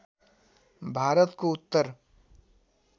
भारतको उत्तर